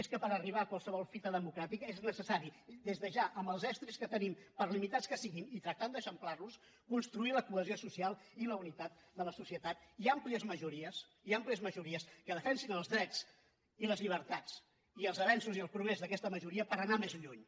és que per arribar a qualsevol fita democràtica és necessari des de ja amb els estris que tenim per limitats que siguin i tractant d’eixamplarlos construir la cohesió social i la unitat de la societat i àmplies majories i àmplies majories que defensin els drets i les llibertats i els avenços i el progrés d’aquesta majoria per anar més lluny